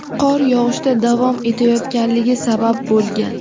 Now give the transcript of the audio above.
qor yog‘ishda davom etayotganligi sabab bo‘lgan.